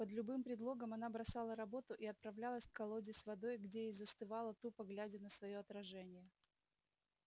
под любым предлогом она бросала работу и отправлялась к колоде с водой где и застывала тупо глядя на своё отражение